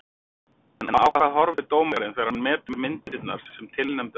En á hvað horfir dómarinn þegar hann metur myndirnar sem tilnefndar eru?